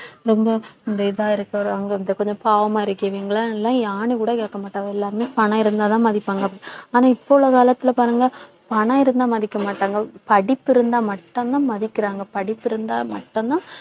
ரொம்ப இந்த இதா இருக்குறவுங்க கொஞ்சம் பாவமா இருக்கீங்களா ஏன்னு கூட கேட்க மாட்டாங்க எல்லாமே பணம் இருந்தால்தான் மதிப்பாங்க ஆனா இப்ப உள்ள காலத்துல பாருங்க பணம் இருந்தால் மதிக்க மாட்டாங்க படிப்பு இருந்தால் மட்டும்தான் மதிக்குறாங்க படிப்பு இருந்தால் மட்டும்தான்